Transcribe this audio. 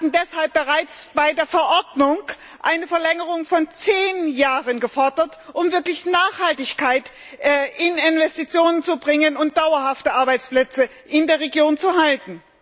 Wir Grüne hatten deshalb bereits bei der Verordnung eine Verlängerung von zehn Jahren gefordert, um wirklich Nachhaltigkeit in Investitionen zu bringen und dauerhaft Arbeitsplätze in der Region zu halten.